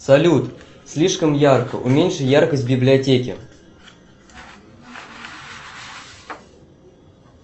салют слишком ярко уменьши яркость в библиотеке